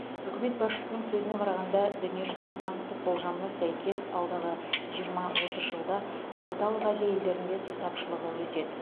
үкімет басшысының сөзіне қарағанда дүниежүзілік банктің болжамына сәйкес алдағы жиырма отыз жылда орталық азия елдерінде су тапшылығы өседі